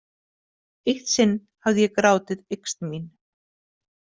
Eitt sinn hafði ég grátið yxn mín.